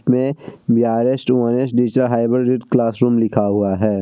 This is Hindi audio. में रीड क्लास रूम लिखा हुआ है।